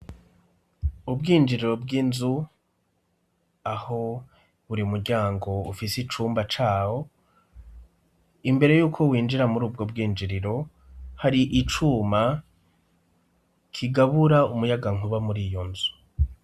Ubwinjiriro bw'inzu aho buri muryango ufise icumba cawo, imbere yuko winjira muri ubwo bwinjiriro hari icuma kigabura umuyagankuba muri iyo nzu.